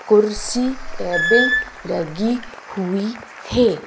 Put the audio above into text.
कुर्सी टेबल लगी हुई है।